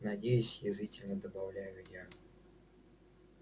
надеюсь язвительно добавляю я